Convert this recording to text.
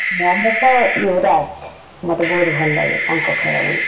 ମହମତ୍ ୟୁବରାଜ ମତେ ବହୁତ୍ ଭଲ ଲାଗେ ତାଙ୍କ ଖେଳ ।